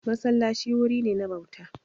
Masallaci wuri ne na bauta.